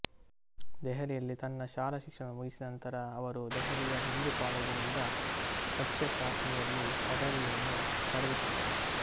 ದೆಹಲಿಯಲ್ಲಿ ತನ್ನ ಶಾಲಾ ಶಿಕ್ಷಣವನ್ನು ಮುಗಿಸಿದ ನಂತರ ಅವರು ದೆಹಲಿಯ ಹಿಂದೂ ಕಾಲೇಜಿನಿಂದ ಸಸ್ಯಶಾಸ್ತ್ರದಲ್ಲಿ ಪದವಿಯನ್ನು ಪಡೆದುಕೊಂಡರು